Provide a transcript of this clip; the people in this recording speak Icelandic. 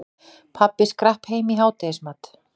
Pabbi skrapp heim í hádegismat.